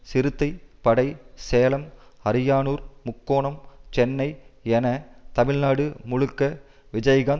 சிறுத்தை படை சேலம் அரியானூர் முக்கோணம் சென்னை என தமிழ்நாடு முழுக்க விஜயகாந்த்